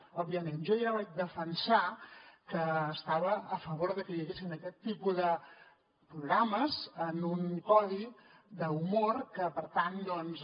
òbviament jo ja vaig defensar que estava a favor de que hi haguessin aquest tipus de programes en un codi d’humor que per tant doncs